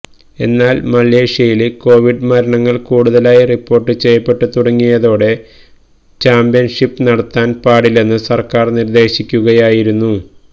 എന്നാല് മലേഷ്യയില് കോവിഡ് മരണങ്ങള് കൂടുതലായി റിപ്പോര്ട്ട് ചെയ്യപ്പെട്ടു തുടങ്ങിയതോടെ ചാമ്പ്യന്ഷിപ്പ് നടത്താന് പാടില്ലെന്നു സര്ക്കാര് നിര്ദേശിക്കുകയായിരുന്നു